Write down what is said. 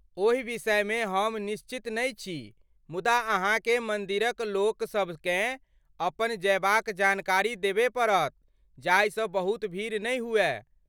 ओहि विषयमे हम निश्चित नहि छी मुदा अहाँकेँ मन्दिरक लोकसभ केँ अपन जयबाक जानकारी देबय पड़त जाहिसँ बहुत भीड़ नहि हुअय।